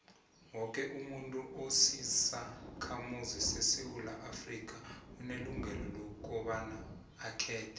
woke umuntu osisakhamuzi sesewula afrika unelungelo lokobaba akhethe